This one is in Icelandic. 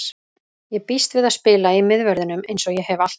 Ég býst við að spila í miðverðinum eins og ég hef alltaf gert.